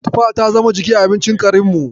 Tufa ta zama jiki a abincin karinmu.